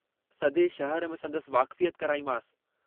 हू हाणे वडो माण्हू थी चुको आहे, भुलिजी वञो हाणे हिनखे।